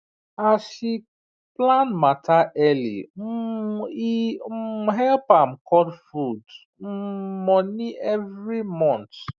as she plan matter early um e um help am cut food um money every month